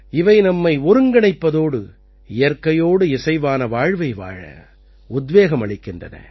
இவை நம்மை ஒருங்கிணைப்பதோடு இயற்கையோடு இசைவான வாழ்வை வாழ உத்வேகம் அளிக்கின்றன